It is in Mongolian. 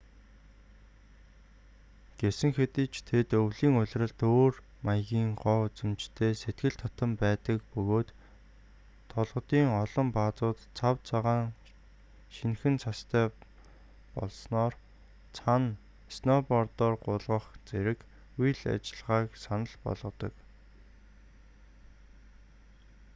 гэсэн хэдий ч тэд өвлийн улиралд өөр маягийн гоо үзэмжтэй сэтгэл татам байдаг бөгөөд толгодын олон баазууд цав цагаан шинэхэн цастай болсноор цана сноубордоор гулгах зэрэг үйл ажиллагааг санал болгодог